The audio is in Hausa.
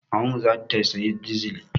Mamanmu za ta sayi dizil.